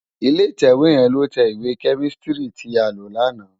Ilé itèwé yèn ló tè iwé kèmísitìrí ti á ló làná